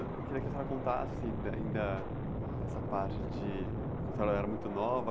Ãh, eu queria que a senhora contasse ainda, ainda nessa parte de... Quando a senhora era muito nova.